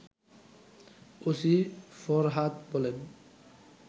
OC Farhad বলেন